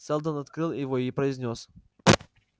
сэлдон открыл его и произнёс